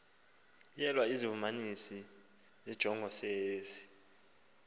nyelwa izivumelanisi zenjongosenzi